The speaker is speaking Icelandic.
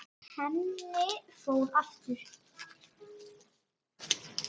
Henni fór aftur.